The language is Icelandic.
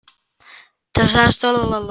Til stóð að um hann yrði skrifuð barnabók.